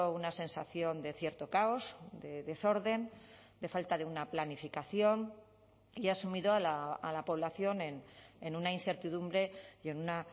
una sensación de cierto caos de desorden de falta de una planificación y ha sumido a la población en una incertidumbre y en una